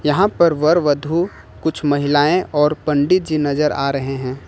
यहां पर वर वधु कुछ महिलाएं और पंडित जी नजर आ रहे हैं।